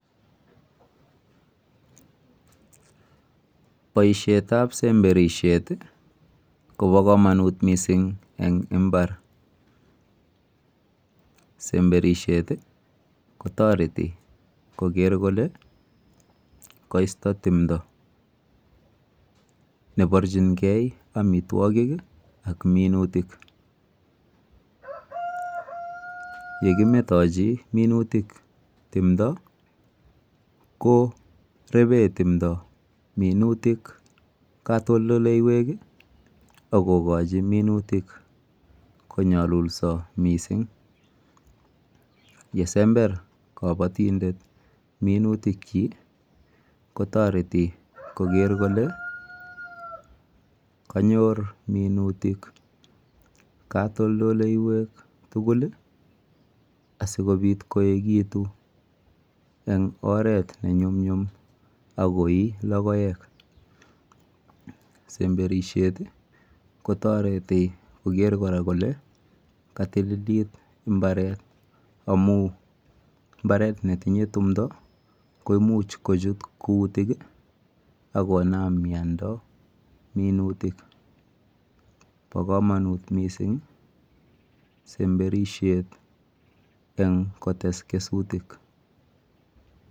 Boisietab semberisiet kobo komonut miising eng imbar. Boisietab semberisiet kotoreti koker kole koisto timdo.